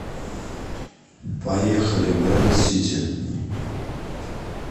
поехали брендсити